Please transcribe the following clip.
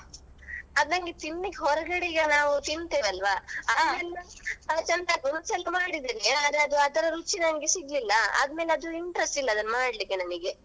ಅದೇ ನಂಗೆ ತಿನ್ಲಿಕ್ಕೆ ಹೊರಗಡೆ ಈಗ ನಾವು ತಿಂತೇವಲ್ವಾ ಅದ್ರ ರುಚಿ ಮಾಡಿದೆನೇ ಅದು ರುಚಿ ನನ್ಗೆ ಸಿಗ್ಲಿಲ್ಲಾ ಆದ್ಮೇಲೆ ಅದು interest ಇಲ್ಲಾ ಮಾಡ್ಲಿಕೆ ನನಿಗೆ.